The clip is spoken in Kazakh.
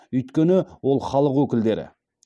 өйткені ол халық өкілдері